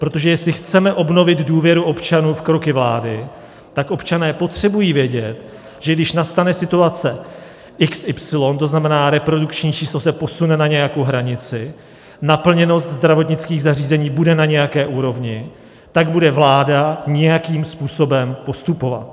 Protože jestli chceme obnovit důvěru občanů v kroky vlády, tak občané potřebují vědět, že když nastane situace xy, to znamená, reprodukční číslo se posune na nějakou hranici, naplněnost zdravotnických zařízení bude na nějaké úrovni, tak bude vláda nějakým způsobem postupovat.